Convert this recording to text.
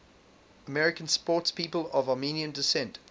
american sportspeople of armenian descent